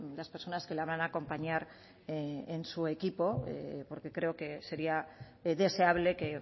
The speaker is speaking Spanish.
las personas que la van a acompañar en su equipo porque creo que sería deseable que